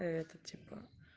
это типа